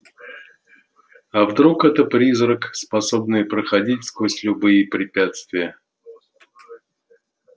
а вдруг это призрак способный проходить сквозь любые препятствия